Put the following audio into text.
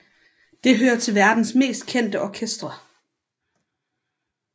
Det hører til verdens mest kendte orkestre